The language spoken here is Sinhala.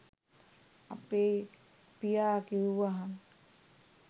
අපේ පියා කිව්වහම